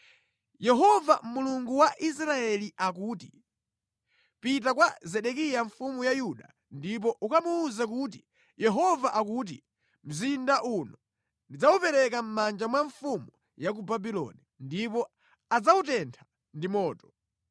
“Yehova, Mulungu wa Israeli akuti: Pita kwa Zedekiya mfumu ya Yuda ndipo ukamuwuze kuti Yehova akuti mzinda uno ndidzawupereka mʼmanja mwa mfumu ya ku Babuloni ndipo adzawutentha ndi moto.